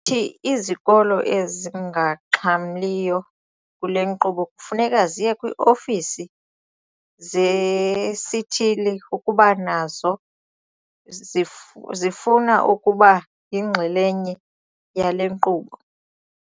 Uthi izikolo ezingaxhamliyo kule nkqubo kufuneka ziye kwii-ofisi zesithili ukuba nazo zifuna ukuba yinxalenye yale nkqubo.